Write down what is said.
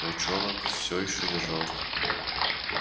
волчонок все ещё держал